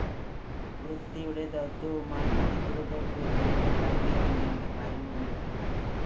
വൃത്തിയുടെ ദൗത്യവുമായി അധികൃതര്‍ക്ക് ഇവിടെ കയറിയിറങ്ങേണ്ട കാര്യവുമില്ല